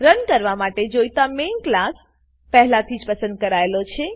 run કરવા માટે જોઈતો મેઇન ક્લાસ મેઈન ક્લાસ પહેલાથી જ પસંદ કરાયેલો છે